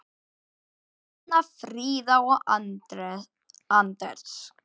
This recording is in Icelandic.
Þín Hanna Fríða og Anders.